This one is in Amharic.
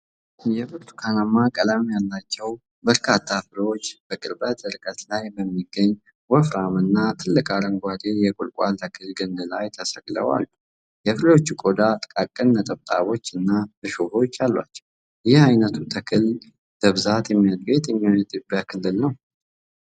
የብርቱካን ቀለም ያላቸው በርካታ ፍሬዎች በቅርብ ርቀት ላይ በሚገኝ ወፍራም እና ትልቅ አረንጓዴ የቁልቋል ተክል ግንድ ላይ ተሰቅለው አሉ፤ የፍሬዎቹ ቆዳ ጥቃቅን ነጠብጣቦችና እሾኾች አሏቸው፤ ይህ ዓይነቱ ተክል በብዛት የሚያድገው የትኞቹ የኢትዮጵያ ክልሎች ላይ ነው?